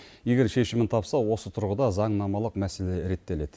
егер шешімін тапса осы тұрғыда заңнамалық мәселе реттеледі